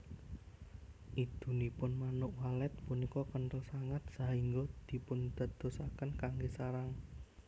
Idunipun Manuk Walet punika kenthel sanget sahingga dipundadosaken kanggé sarang